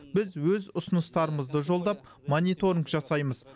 біз өз ұсыныстарымызды жолдап мониторинг жасаймыз